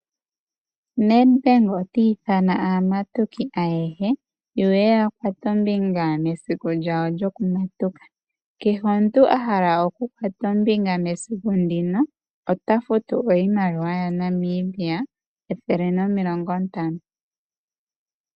Nedbank oti ithana aamatuki ayehe ye ye ya kuthe ombinga mesiku lyawo lyokumatuka. Kehe omuntu ahala oku kutha ombinga mesiku ndino ota iimaliwa futu iimaliwa yaNamibia ethele nomilongo ntano.